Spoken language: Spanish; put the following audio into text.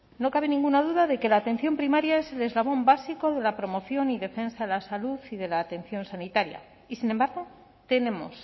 no cabe ninguna duda de que la atención primaria es el eslabón básico de la promoción y defensa de la salud y de la atención sanitaria y sin embargo tenemos